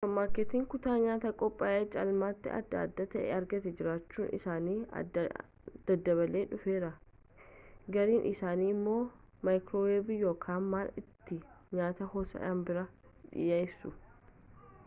suuppermaarkeetiiwwan kutaa nyaata qophaa'aa caalmaatti adda adda ta'e argataa jiraachuun isaanii daddabalaa dhufeera gariin isaanii immoo maayikirooweevii yookaan mala ittiin nyaata ho'isan biraa dhiyeessu